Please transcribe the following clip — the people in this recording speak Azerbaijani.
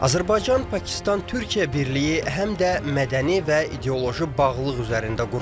Azərbaycan Pakistan Türkiyə birliyi həm də mədəni və ideoloji bağlılıq üzərində qurulub.